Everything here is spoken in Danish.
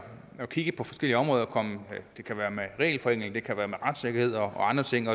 kigge på forskellige områder det kan være regelforenklinger det kan være retssikkerhed og andre ting